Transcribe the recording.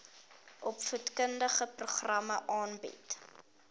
opvoedkundige programme aanbied